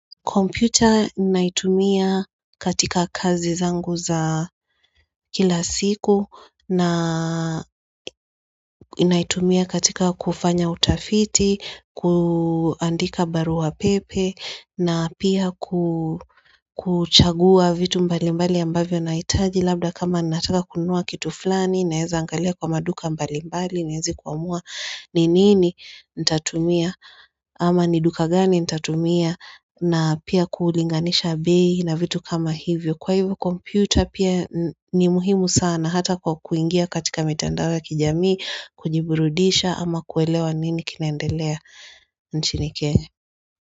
Computer naitumia katika kazi zangu za kila siku na inaitumia katika kufanya utafiti, kuandika barua pepe na pia kuchagua vitu mbali mbali ambavyo na itaji labda kama nataka kunua kitu fulani naeza angalia kwa maduka mbali mbali ni hezi kuamua ni nini nitatumia ama ni duka gani nitatumia na pia kuulinganisha abi na vitu kama hivyo Kwa hivyo komputer pia ni muhimu sana hata kwa kuingia katika mitandao ya kijami kujiburudisha ama kuelewa nini kinaendelea nchini kenge.